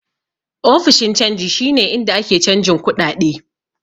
Ofishin canji shi ne inda ake canjin kuɗaɗe.